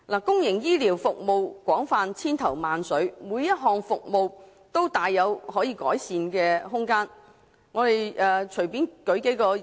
公營醫療服務廣泛，種類繁多，每項服務都大有改善空間。